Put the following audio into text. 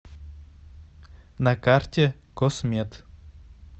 на карте космед